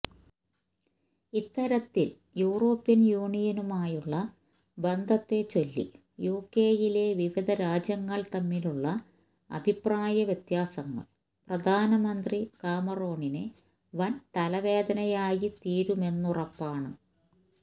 ഇത്തരത്തിൽ യൂറോപ്യൻ യൂണിയനുമായുള്ള ബന്ധത്തെ ചൊല്ലി യുകെയിലെ വിവിധ രാജ്യങ്ങൾ തമ്മിലുള്ള അഭിപ്രായ വ്യത്യാസങ്ങൾ പ്രധാനമന്ത്രി കാമറോണിന് വൻ തലവേദനയായിത്തീരുമെന്നുറപ്പാണ്